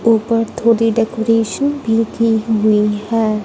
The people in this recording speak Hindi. ऊपर थोड़ी डेकोरेशन भी की हुई है।